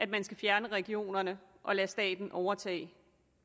man skal fjerne regionerne og lade staten overtage